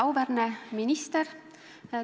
Auväärne minister!